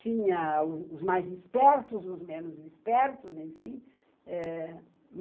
Tinha os mais espertos, os menos espertos, enfim, eh